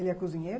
Ele é cozinheiro?